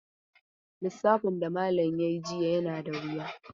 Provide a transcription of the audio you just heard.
Lissafin da malam ya yi jiya yana da wuya.